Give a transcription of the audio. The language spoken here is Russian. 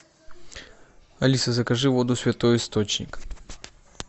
алиса закажи воду святой источник